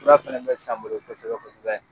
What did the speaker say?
Fura fana bɛ san n bolo kosɛbɛ kosɛbɛ.